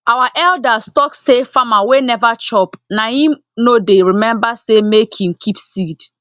our elders talk say farmer wey never chop na hin no dey remember say make hin keep seed